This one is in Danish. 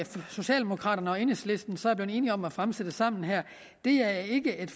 socialdemokraterne og enhedslisten så er blevet enige om at fremsætte sammen er ikke et